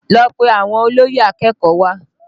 Lọ pe àwọn olóyè akẹ́kọ̀ọ́ wá!